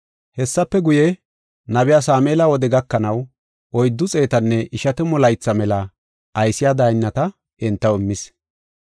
“Hessafe guye, nabiya Sameela wode gakanaw oyddu xeetanne ishatamu laytha mela aysiya daynnata entaw immis.